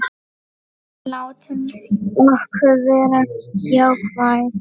En látum okkur vera jákvæð.